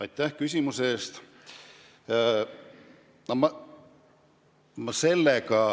Aitäh küsimuse eest!